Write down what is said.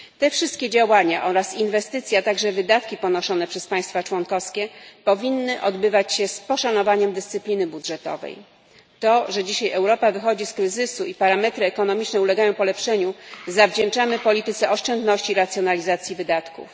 Wszystkie te działania i inwestycje, także wydatki ponoszone przez państwa członkowskie, powinny odbywać się z poszanowaniem dyscypliny budżetowej. To, że dzisiaj Europa wychodzi z kryzysu i parametry ekonomiczne ulegają polepszeniu, zawdzięczamy polityce oszczędności i racjonalizacji wydatków.